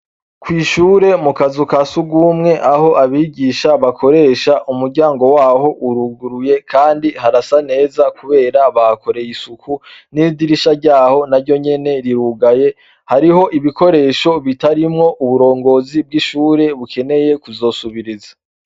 Kwishure mu kazu ka sugumwe aho abigisha bakoresha umuryango waho uruguruye kandi harasa neza kubera bahakoreye isuku n' idirisha ryaho naryo nyene rirugaye hariho ibikoresho bitarimwo uburongozi bw' ishure bukeneye kuzosubiriza.